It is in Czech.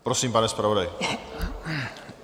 Prosím, pane zpravodaji.